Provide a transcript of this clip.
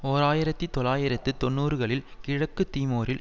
ஓர் ஆயிரத்தி தொள்ளாயிரத்து தொன்னூறுகளில் கிழக்கு தீமோரில்